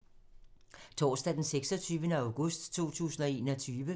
Torsdag d. 26. august 2021